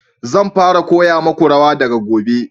Zan fara koya muku rawa daga gobe